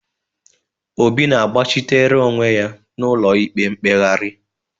Obi na-agbachitere onwe ya n'ụlọikpe mkpegharị